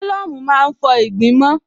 Álọ̀mù má ń fọ ìgbín mọ́n